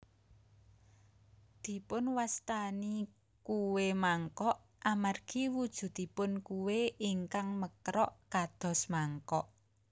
Dipunwastani kué mangkok amargi wujudipun kué ingkang mekrok kados mangkok